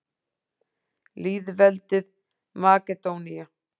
Lýðveldið Makedónía